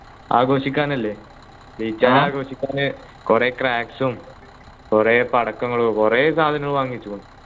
ആഘോഷിക്കാൻ അല്ലേ ജയിച്ചാല് ആഘോഷിക്കാൻ കുറെ cracks ഉം കുറെ പടക്കങ്ങളും കുറെ സാധനങ്ങൾ വാങ്ങിച്ചു